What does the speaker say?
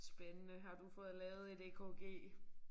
Spændende har du fået lavet et EKG